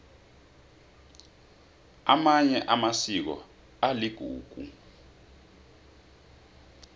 amanye amasiko aligugu